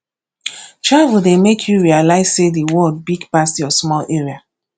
travel dey make you realize sey the world big pass your small area